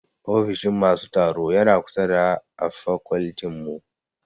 Ofishin masu tsaro yana kusa da a fakoltin mu